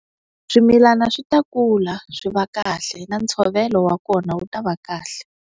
Swimilana swi ta kula swi va kahle na ntshovelo wa kona wu ta va kahle.